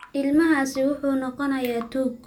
Ilmahaasi wuxuu noqonayaa tuug.